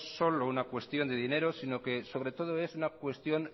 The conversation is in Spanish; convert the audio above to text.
es solo una cuestión de dinero sino que sobre todo es una cuestión